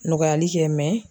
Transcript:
Nɔgɔyali kɛ